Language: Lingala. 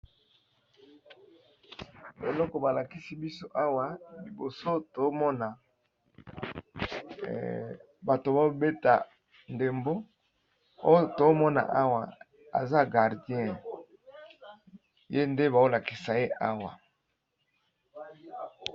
eloko balakisi biso awa liboso tomona bato babeta ndembo oyo tomona awa eza gardien ye nde baolakisa ye awa